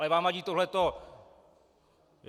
Ale vám vadí tohleto.